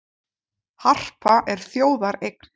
Harpa er þjóðareign